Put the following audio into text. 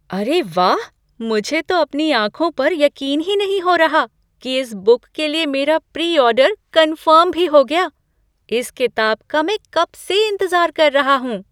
अरे वाह! मुझे तो अपनी आंखों पर यकीन ही नहीं हो रहा कि इस बुक के लिए मेरा प्री ऑर्डर कन्फर्म भी हो गया। इस किताब का मैं कब से इंतज़ार कर रहा हूँ।